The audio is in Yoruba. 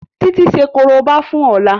Titi ṣe koriba fún Ola.